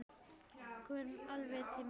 Kom alveg til mín.